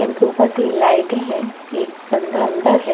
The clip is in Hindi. ेन के ऊपर तीन लाइटें हैं एक बंदा अंदरह--